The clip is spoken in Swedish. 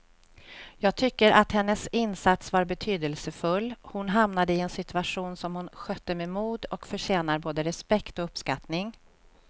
Jag tycker att hennes insats var betydelsefull, hon hamnade i en situation som hon skötte med mod och förtjänar både respekt och uppskattning.